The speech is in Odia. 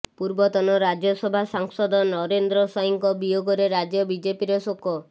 ପୂର୍ବତନ ରାଜ୍ୟସଭା ସାଂସଦ ନରେନ୍ଦ୍ର ସ୍ୱାଇଁଙ୍କ ବିୟୋଗରେ ରାଜ୍ୟ ବିଜେପିର ଶୋକ